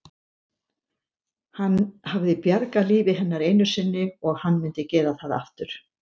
Hann hafði bjargað lífi hennar einu sinni og hann myndi gera það aftur.